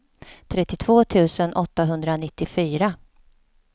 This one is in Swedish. trettiotvå tusen åttahundranittiofyra